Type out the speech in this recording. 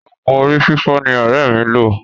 Òògùn orí fífọ́ ni ọ̀rẹ́ mi lo.